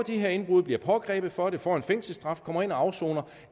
her indbrud bliver pågrebet for det får en fængselsstraf og kommer ind og afsoner